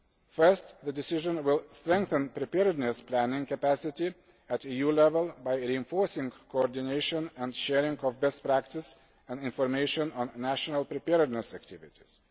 First, the decision will strengthen preparedness planning capacity at EU level by reinforcing coordination and sharing of best practice and information on national preparedness activities.